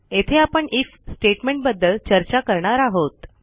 येथे आपण आयएफ स्टेटमेंटबद्दल चर्चा करणार आहोत